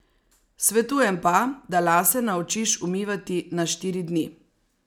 Svetujem pa, da lase naučiš umivati na štiri dni.